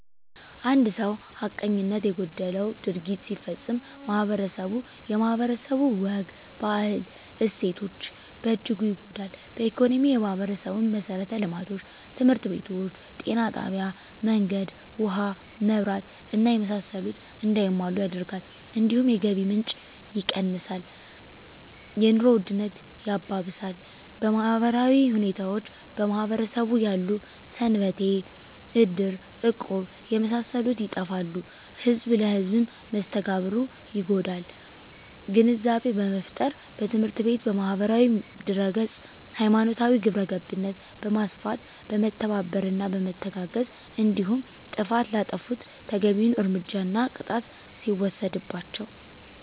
አንድ ሰው ሀቀኝነት የጎደለው ድርጊት ሲፈፀም ማህበረስቡ የማህበረሰቡ ወግ ባህል እሴቶች በእጅጉ ይጎዳል በኢኮኖሚ የማህበረሰቡን መሠረተ ልማቶች( ትምህርት ቤቶች ጤና ጣቢያ መንገድ ውሀ መብራት እና የመሳሰሉት) እንዳይሟሉ ያደርጋል እንዲሁም የገቢ ምንጭ የቀንሳል የኑሮ ውድነት ያባብሳል በማህበራዊ ሁኔታዎች በማህበረሰቡ ያሉ ሰንበቴ እድር እቁብ የመሳሰሉት ይጠፋሉ ህዝብ ለህዝም መስተጋብሩ ይጎዳል ግንዛቤ በመፍጠር በትምህርት ቤት በማህበራዊ ድህረገፅ ሀይማኖታዊ ግብረገብነት በማስፋት በመተባበርና በመተጋገዝ እንዲሁም ጥፍት ላጠፉት ተገቢዉን እርምጃና ቅጣት ሲወሰድባቸው